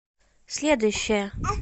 следующая